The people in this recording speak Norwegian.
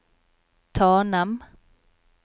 Tanem